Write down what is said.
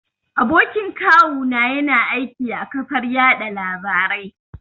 Abokin kawu na ya na aiki a ƙafar yaɗa labarai